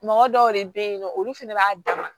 Mɔgɔ dɔw de bɛ yen nɔ olu fana b'a dan ma